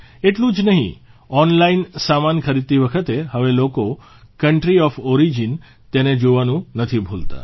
એટલું જ નહિં ઓનલાઇન સામાન ખરીદતી વખતે હવે લોકો કન્ટ્રી ઓફ ઓરીજીન તેને જોવાનું નથી ભૂલતા